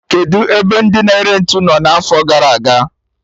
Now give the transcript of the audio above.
Kedụ ebe ndị na-ere ntụ nọ n'afo gara aga?